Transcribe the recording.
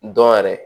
Dɔn yɛrɛ